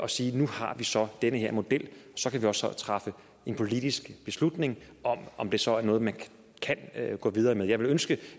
sige nu har vi så den her model så kan vi også træffe en politisk beslutning om om det så er noget man kan gå videre med jeg ville ønske